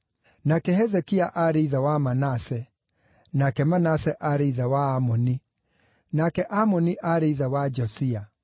nake Hezekia aarĩ ithe wa Manase, nake Manase aarĩ ithe wa Amoni, nake Amoni aarĩ ithe wa Josia,